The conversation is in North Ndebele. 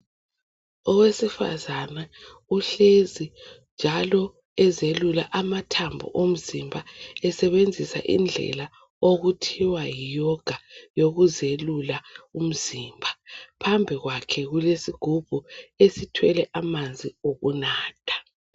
Owesifazane uhlezi njalo ezelula amathambo omzimba esebenzisa indlela okuthiwa yiyoga yokuzelula umzimba. Phambi kwakhe kulesigubhu esithwele amanzi okunatha.